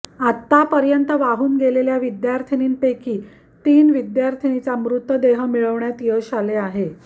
आतापर्यंत वाहून गेलेल्या विद्यार्थिनींपैकी तीन विद्यार्थिनीचा मृतदेह मिळवण्यात यश आले आहे